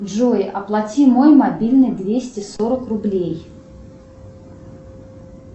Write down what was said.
джой оплати мой мобильный двести сорок рублей